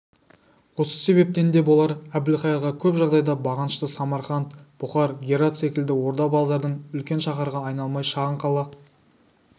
осы себептен де болар әбілқайырға көп жағдайда бағынышты самарқант бұқар герат секілді орда-базардың үлкен шаһарға айналмай шағын қала